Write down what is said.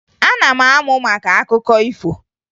Ana m amụ maka akụkọ ifo